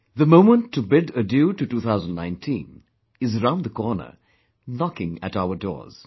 The moment to bid adieu to 2019 is round the corner knocking at our doors